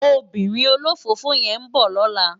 Óbìrín ólófófó yèn n bò lòlá